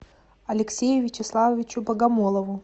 алексею вячеславовичу богомолову